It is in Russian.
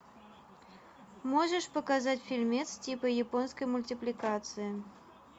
можешь показать фильмец типа японской мультипликации